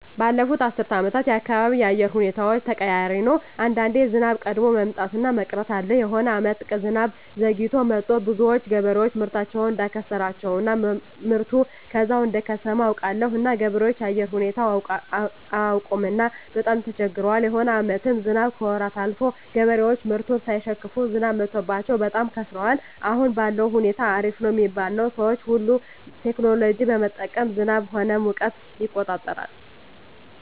ባለፋት አስር አመታት የአካባቢው የአየር ሁኔታዎች ተቀያሪ ነው አንዳንዴ ዝናብ ቀድሞ መምጣት እና መቅረት አለ የሆነ አመታት ዝናብ ዘግይቶ መጥቱ ብዙዎች ገበሬዎች ምርታቸውን እዳከሰራቸው እና ምርቱ ከዛው እደከሰመ አውቃለሁ እና ገበሬዎች የአየር ሁኔታው አያውቅምና በጣም ተቸግረዋል የሆነ አመታትም ዝናብ ከወራት አልፎ ገበሬዎች ምርቱን ሳይሸክፋ ዝናብ መትቶባቸው በጣም ከስረዋል አሁን ባለዉ ሁኔታ አሪፍ ነው ሚባል ነው ሰዎች ሁሉ ቴክኖሎጂ በመጠቀም ዝናብ ሆነ ሙቀትን ይቆጠራል